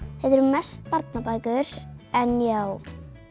þetta eru mest barnabækur en já